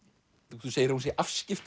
þú segir að hún sé